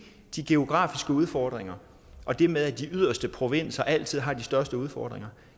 de geografiske udfordringer og det med at de yderste provinser altid har de største udfordringer